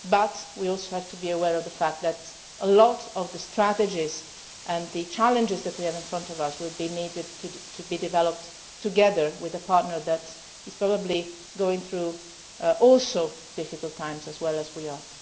discuss, obviously. But we also have to be aware of the fact that a lot of the strategies and challenges that we have before us will need to be developed together with a partner that is probably going through difficult times